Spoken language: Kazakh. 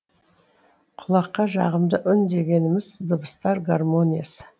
құлаққа жағымды үн дегеніміз дыбыстар гармониясы